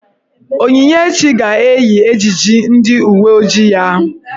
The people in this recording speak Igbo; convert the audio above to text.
Onyinyechi ga-eyi ejiji ndị uwe ojii ya.